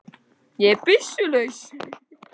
Ég er byssu laus.